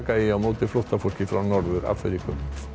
eigi á móti flóttafólki frá Norður Afríku þá